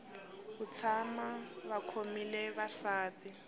ku tshama va khomile vasati